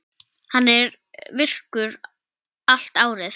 Hann er virkur allt árið.